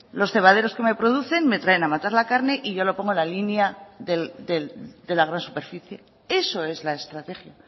los cebaderos que me producen me traen a matar la carne y yo lo pongo en la línea de la gran superficie eso es la estrategia